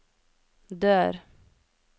dør